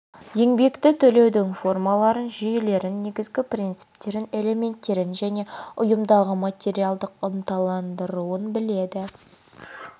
еңбекті төлеудің формаларын жүйелерін негізгі принцптерін элементтерін және ұйымдағы материалдық ынталандыруын біледі